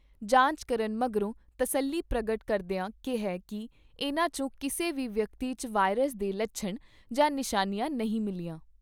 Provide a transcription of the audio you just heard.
ਜਾਂਚ ਕਰਨ ਮਗਰੋਂ ਤਸਲੀ ਪ੍ਰਗਟ ਕਰਦਿਆਂ ਕਿਹਾ ਕਿ ਇਨ੍ਹਾਂ ' ਚੋਂ ਕਿਸੇ ਵੀ ਵਿਅਕਤੀ 'ਚ ਵਾਇਰਸ ਦੇ ਲੱਛਣ ਜਾਂ ਨਿਸ਼ਾਨੀਆਂ ਨਹੀਂ ਮਿਲੀਆਂ।